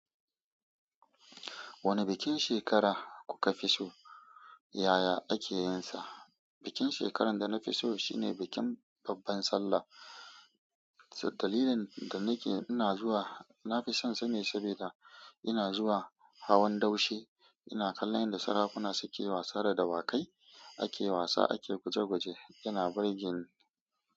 Wani bikin shekara kuka fi so yaya ake yin sa? Bikin shekarar da na fi so shine bikin babban sallah. Dalilin da nake ina zuwa nafi son sa ne saboda ina zuwa hawan daushe, ina kallon yadda sarakuna suke wasa da dawakai, ake wasa ake guje guje, ina barjin.